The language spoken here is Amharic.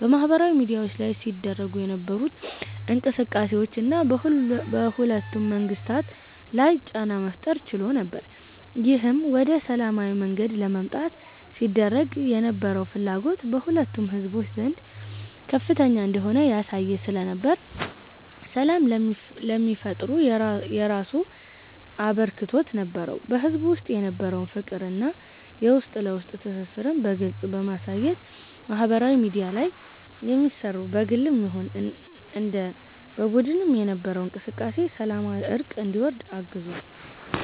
በማህበራዊ ሚድያዎች ላይ ሲደረጉ የነበሩት እንቅስቃሴዎች እና በሁለቱም መንግስታት ላይ ጫና መፍጠር ችሎ ነበር። ይህም ወደ ሰላማዊ መንገድ ለመምጣት ሲደረግ የነበረው ፍላጎት በሁለቱም ህዝቦች ዘንድ ከፍተኛ እንደሆነ ያሳየ ስለነበር ሰላም ለሚፈጠሩ የራሱ አበርክቶት ነበረው። በህዝቡ ውስጥ የነበረውን ፍቅር እና የውስጥ ለውስጥ ትስስርን በግልጽ በማሳየት ማህበራዊ ሚድያ ላይ የሚሰሩ በግልም ይሁን እንደ በቡድን የነበረው እንቅስቃሴ ሰላማዊ እርቅ እንዲወርድ አግዟል።